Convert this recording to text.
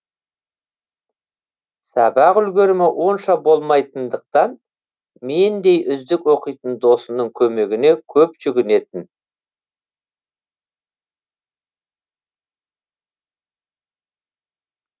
сабақ үлгерімі онша болмайтындықтан мендей үздік оқитын досының көмегіне көп жүгінетін